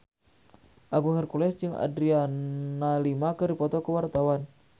Agung Hercules jeung Adriana Lima keur dipoto ku wartawan